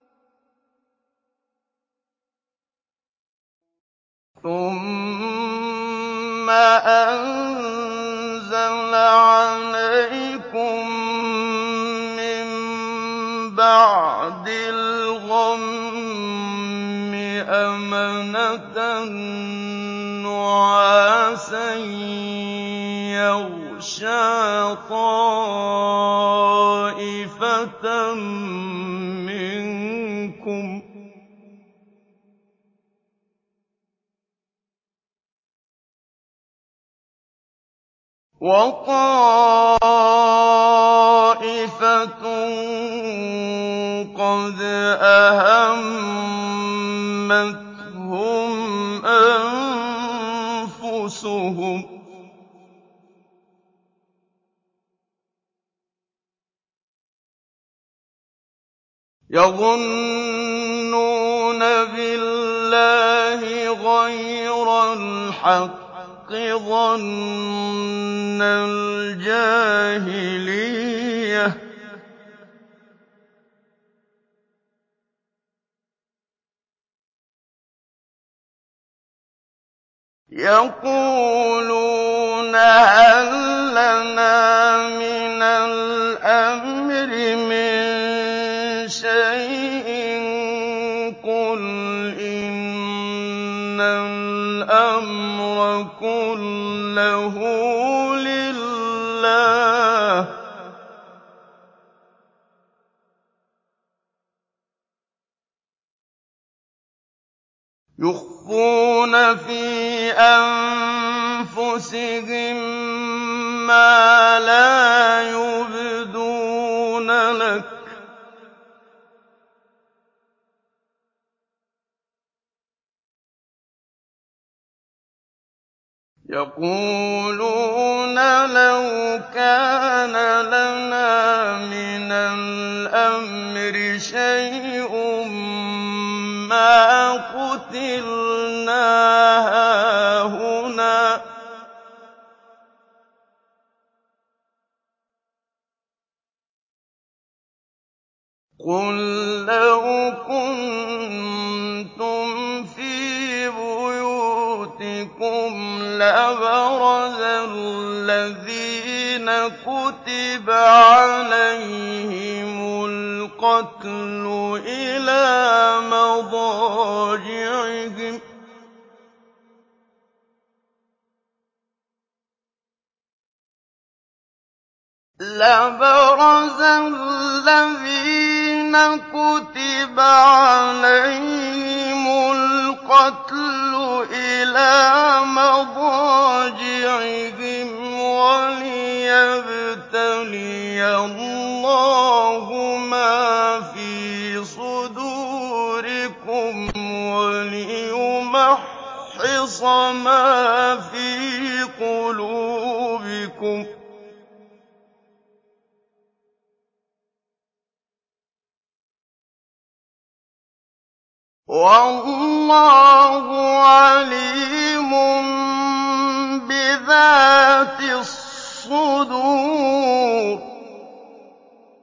ثُمَّ أَنزَلَ عَلَيْكُم مِّن بَعْدِ الْغَمِّ أَمَنَةً نُّعَاسًا يَغْشَىٰ طَائِفَةً مِّنكُمْ ۖ وَطَائِفَةٌ قَدْ أَهَمَّتْهُمْ أَنفُسُهُمْ يَظُنُّونَ بِاللَّهِ غَيْرَ الْحَقِّ ظَنَّ الْجَاهِلِيَّةِ ۖ يَقُولُونَ هَل لَّنَا مِنَ الْأَمْرِ مِن شَيْءٍ ۗ قُلْ إِنَّ الْأَمْرَ كُلَّهُ لِلَّهِ ۗ يُخْفُونَ فِي أَنفُسِهِم مَّا لَا يُبْدُونَ لَكَ ۖ يَقُولُونَ لَوْ كَانَ لَنَا مِنَ الْأَمْرِ شَيْءٌ مَّا قُتِلْنَا هَاهُنَا ۗ قُل لَّوْ كُنتُمْ فِي بُيُوتِكُمْ لَبَرَزَ الَّذِينَ كُتِبَ عَلَيْهِمُ الْقَتْلُ إِلَىٰ مَضَاجِعِهِمْ ۖ وَلِيَبْتَلِيَ اللَّهُ مَا فِي صُدُورِكُمْ وَلِيُمَحِّصَ مَا فِي قُلُوبِكُمْ ۗ وَاللَّهُ عَلِيمٌ بِذَاتِ الصُّدُورِ